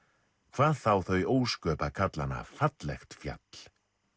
hvað þá þau ósköp að kalla hana fallegt fjall